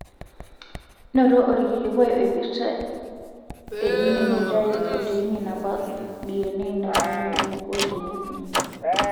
Noto olkilikuai oipirta e jini naitayu proteini naabak diyenee nainyale wenaiko teneipimi.